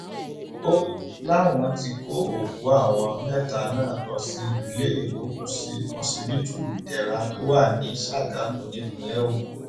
ó láwọn ti kó òkú àwọn mẹta náà lọ sí iléegbòkusí ọsibítù ìdẹra tó wà ní sàgámù nípìnlẹ ogun